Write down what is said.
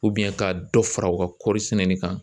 ka dɔ fara u ka kɔɔrisɛnɛ kan